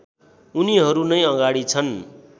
उनीहरु नै अगाडि छन्